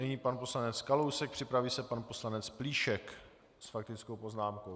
Nyní pan poslanec Kalousek, připraví se pan poslanec Plíšek s faktickou poznámkou.